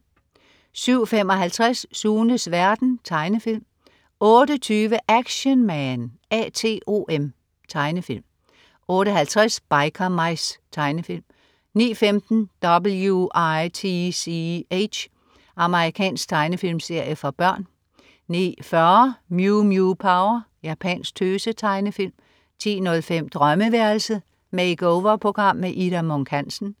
07.55 Sunes verden. Tegnefilm 08.20 Action Man A.T.O.M. Tegnefilm 08.50 Biker Mice. Tegnefilm 09.15 W.i.t.c.h. Amerikansk tegnefilmserie for børn 09.40 Mew Mew Power. Japansk tøse-tegnefilm 10.05 Drømmeværelset. Make-over-program. Ida Munk Hansen